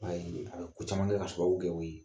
I b'a yee a be ko caman kɛ k'a sababu kɛ o ye.